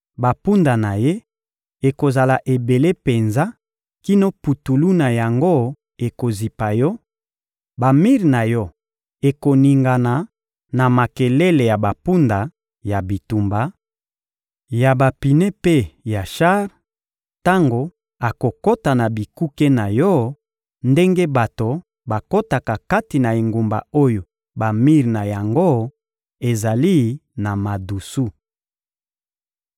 Bampunda na ye ekozala ebele penza kino putulu na yango ekozipa yo; bamir na yo ekoningana na makelele ya bampunda ya bitumba, ya bapine mpe ya shar, tango akokota na bikuke na yo ndenge bato bakotaka kati na engumba oyo bamir na yango ezali na madusu.